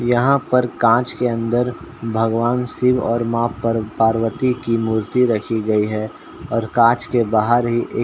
यहाँ पर काँच के अंदर भगवान शिव और माँ पर्व पार्वती की मूर्ति रखी गयी है और काँच के बाहर ही एक --